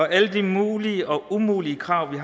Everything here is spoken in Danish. alle de mulige og umulige krav vi